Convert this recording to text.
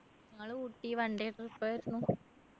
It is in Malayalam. ഞങ്ങള് ഊട്ടി one day trip ആയിരുന്നു